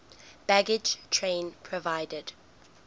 baggage train provided